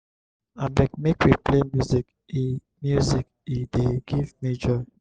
abeg make we play music e music e dey give me joy.